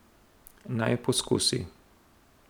Naj poskusi.